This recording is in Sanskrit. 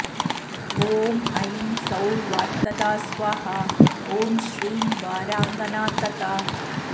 ॐ ऐं सौः वार्तदा स्वाहा ॐ श्रीं वाराङ्गना तथा